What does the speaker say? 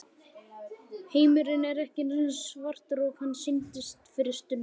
Heimurinn er ekki eins svartur og hann sýndist fyrir stundu.